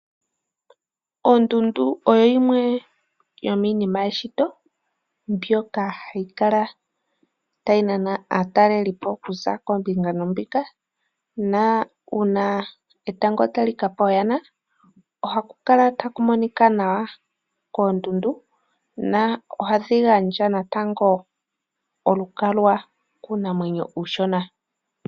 Ondundu oyo yimwe yo miinima yeshito mbyoka hayi kala tayi nana aatalelipo okuza koombinga noombinga, na uuna etango tali kapa ooyana, ohaku kala taku monika nawa koondundu, na ohadhi gandja natango olukalwa kuunamwenyo mboka uushona.